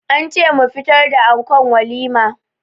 An ce mu fitar da ankon walima.